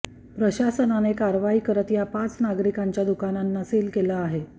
प्रशासनने कारवाई करत या पाच नागरिकांच्या दुकानांना सील केले आहे